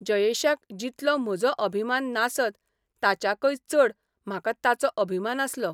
जयेशाक जितलो म्हजो अभिमान नासत ताच्याकय चड म्हाका ताचो अभिमान आसलो.